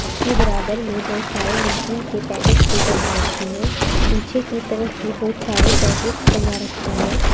इसके बराबर में बहुत सारे नमकीन के पैकेट्स भी टंगा रखे हैं पीछे की तरफ भी बहुत सारे पैकेट्स टंगा रखे हैं।